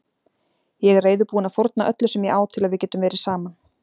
Ég er reiðubúinn að fórna öllu sem ég á til að við getum verið saman.